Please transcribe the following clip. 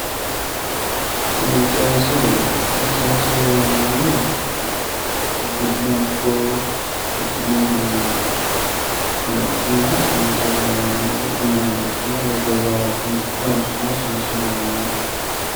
Seensilleho yoneemmohu uddi'ne ikko uddi'noyiihu aana lexxinanniha seensilleho yineemmo umoho riqqine woy goowaho wodhine seensanniha seenssilleho yineemmo